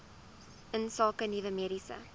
insake nuwe mediese